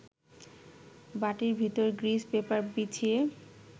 বাটির ভেতরে grease paper বিছিয়ে